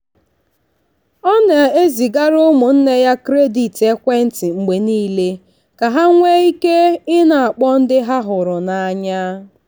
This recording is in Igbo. ọ na-ezigara ụmụnne ya kredit ekwentị mgbe niile ka ha nwee ike ị na-akpọ ndị ha hụrụ n'anya.